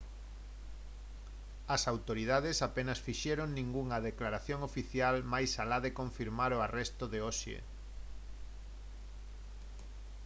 as autoridades apenas fixeron ningunha declaración oficial máis alá de confirmar o arresto de hoxe